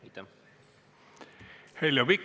Heljo Pikhof, palun!